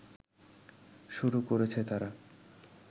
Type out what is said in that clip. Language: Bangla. শুরু করেছে তারা